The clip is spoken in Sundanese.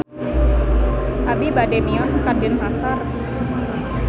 Abi bade mios ka Denpasar